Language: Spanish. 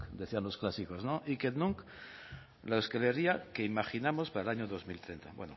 decían los clásicos la euskal herria que imaginamos para el año dos mil bueno